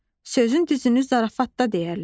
Sözün düzünü zarafatda deyərlər.